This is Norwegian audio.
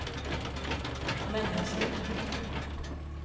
mennesker